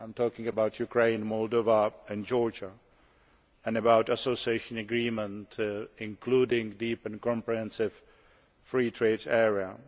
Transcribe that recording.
I am talking about Ukraine, Moldova and Georgia, and also about an association agreement including a deep and comprehensive free trade area.